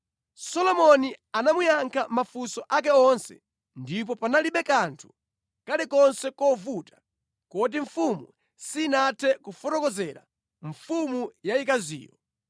Solomoni anayankha mafunso ake onse ndipo panalibe kanthu kalikonse kovuta komwe sanathe kufotokozera mfumu yayikaziyo.